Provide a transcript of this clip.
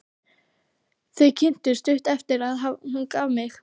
Þau kynntust stuttu eftir að hún gaf mig.